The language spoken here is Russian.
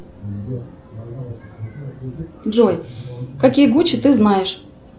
джой какие гучи ты знаешь